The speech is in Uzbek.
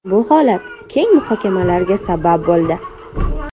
Bu holat keng muhokamalarga sabab bo‘ldi.